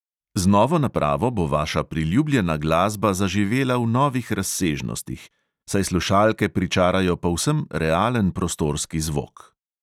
Z novo napravo bo vaša priljubljena glasba zaživela v novih razsežnostih, saj slušalke pričarajo povsem realen prostorski zvok.